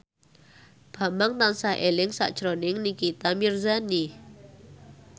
Bambang tansah eling sakjroning Nikita Mirzani